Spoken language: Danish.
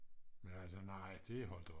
men altså nej det er holdt op